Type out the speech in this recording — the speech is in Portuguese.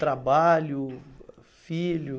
Trabalho, filho?